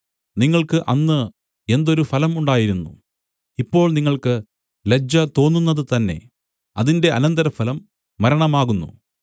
നിങ്ങൾക്ക് അന്ന് എന്തൊരു ഫലം ഉണ്ടായിരുന്നു ഇപ്പോൾ നിങ്ങൾക്ക് ലജ്ജ തോന്നുന്നതു തന്നേ അതിന്റെ അനന്തരഫലം മരണമാകുന്നു